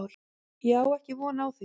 Ég á ekki von á því.